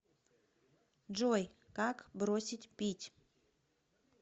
джой как бросить пить